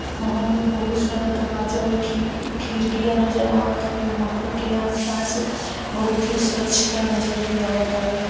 महल में बहुत सारा दरवाज़ा और खिड़कियाँ नजर है | महल के आसपास बहुत ही स्वछता नजर आ रही है |